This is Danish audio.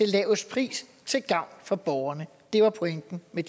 laveste priser til gavn for borgerne det var pointen med